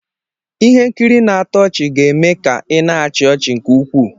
Ihe nkiri na-atọ ọchị ga-eme ka ị na-achị ọchị nke ukwuu.